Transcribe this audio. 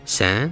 Sən?